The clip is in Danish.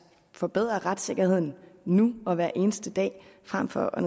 forbedre retssikkerheden nu og hver eneste dag frem for at